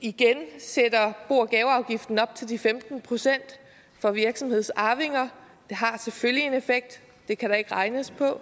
igen sætter bo og gaveafgiften op til de femten procent for virksomhedsarvinger har selvfølgelig en effekt det kan der ikke regnes på